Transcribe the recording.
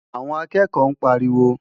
Àwọn akẹ́kọ̀ọ́ ń pariwo.